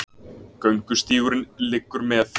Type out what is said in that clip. Göngustígurinn liggur með